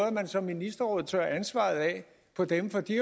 at man som ministerrådet tørrer ansvaret af på dem for de